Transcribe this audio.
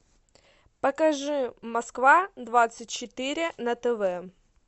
покажи москва двадцать четыре на тв